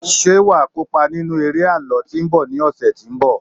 ṣe wa kópa nínú eré àlọ tí nbọ ni ọsẹ tínbọ̀